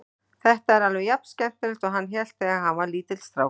Þetta er alveg jafnskemmtilegt og hann hélt þegar hann var lítill strákur.